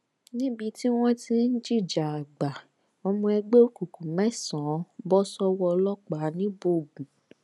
níbi tí wọn ti ń jìjà àgbà ọmọ ẹgbẹ òkùnkùn mẹsànán bọ sọwọ ọlọpàá ńíbógun